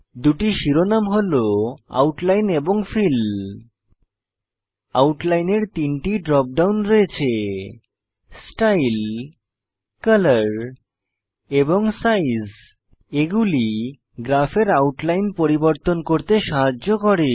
দুটি শিরোনামে হল আউটলাইন এবং ফিল আউটলাইন এর তিনটি ড্রপ ডাউন রয়েছে স্টাইল কলর এবং সাইজ এগুলি গ্রাফের আউটলাইন পরিবর্তন করতে সাহায্য করে